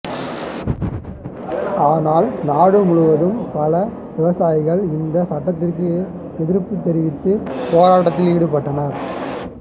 ஆனால் நாடு முழுவதும் பல விவசாயிகள் இந்த சட்டத்திற்கு எதிர்ப்பு தெரிவித்து போராட்டத்தில் ஈடுபட்டனர்